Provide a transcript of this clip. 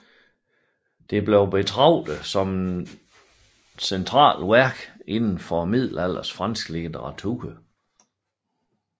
Det bliver betragtet som et centralt værk inden for middelalderens franske litteratur